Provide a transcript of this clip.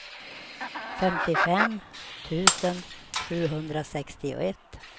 femtiofem tusen sjuhundrasextioett